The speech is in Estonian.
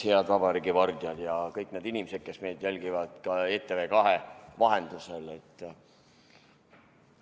Head vabariigi vardjad ja kõik need inimesed, kes meid jälgivad ka ETV2 vahendusel!